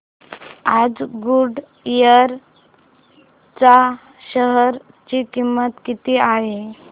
आज गुडइयर च्या शेअर ची किंमत किती आहे